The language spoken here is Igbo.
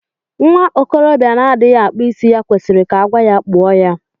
Nwa okorobịa na-adịghị akpụ isí ya kwesịrị ka agwa ya kpụọ ya.